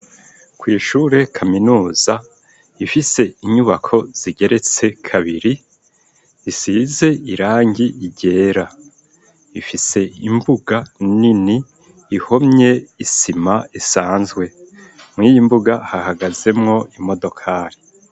Kw'ishure kaminuza rifise inyubako zigeretse kabiri, risize irangi ryera. Rifise imbuga nini ihomye isima isanzwe. Mw'iyo mbuga hahagazemwo imodokari.